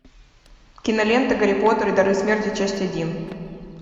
кинолента гарри поттер и дары смерти часть один